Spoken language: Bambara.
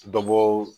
Dɔbɔ